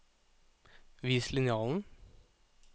Vis linjalen